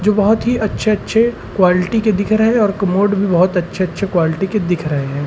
जो बहोत ही अच्छे-अच्छे क्वालिटी के दिख रहे और कमोड भी बहोत अच्छे-अच्छे क्वालिटी के दिख रहे हैं।